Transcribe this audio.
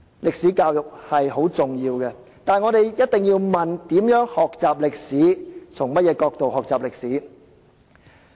歷史教育十分重要，但我們一定要問應如何學習歷史及從甚麼角度學習歷史。